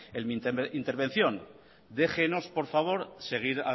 en mi intervención déjenos por favor seguir